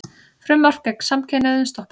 Frumvarp gegn samkynhneigðum stoppað